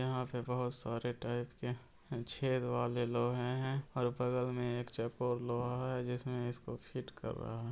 यहाँ पे बहुत सारे टाइप के छेद वाले लोहे है और ऊपर हमें एक चकोर लोहा है जिसमें इसको फिट कर रहा है।